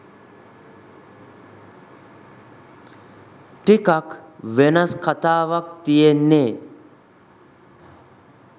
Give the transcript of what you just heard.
ටිකක් වෙනස් කතාවක් තියෙන්නෙ.